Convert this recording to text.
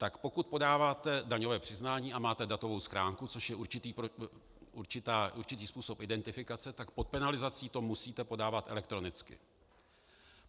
Tak pokud podáváte daňové přiznání a máte datovou schránku, což je určitý způsob identifikace, tak pod penalizací to musíte podávat elektronicky.